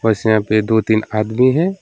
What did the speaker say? इसमें भी दो तीन आदमी हैं।